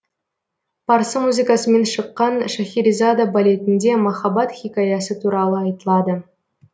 парсы музыкасымен шыққан шахерезада балетінде махаббат хикаясы туралы айтылады